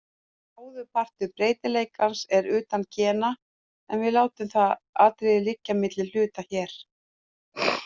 Bróðurpartur breytileikans er utan gena, en við látum það atriði liggja milli hluta hér.